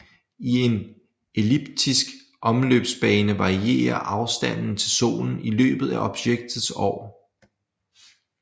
I en elliptisk omløbsbane varierer afstanden til Solen i løbet af objektets år